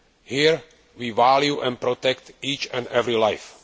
Here, we value and protect each and every life